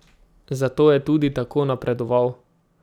Zato je tudi tako napredoval.